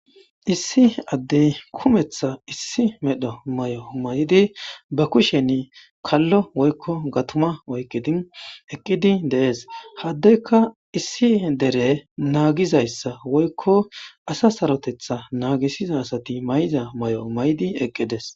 issi addey kumetha issi medho may7o may7di ba kusheni kallo woykko gatuma oyqidi eqqidi dees haddekka issi dere naagizayssa woykko asa sarotetha naagisiza asati may7iza may7o maydi eqqides